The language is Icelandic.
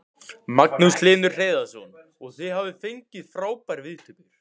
Magnús Hlynur Hreiðarsson: Og þið hafið fengið frábærar viðtökur?